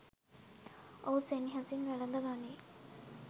ඔහු සෙනෙහසින් වැළඳ ගනියි